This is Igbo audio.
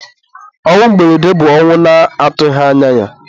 ọnwụ mberede bụ ọnwụ a na-atụghị anya ya.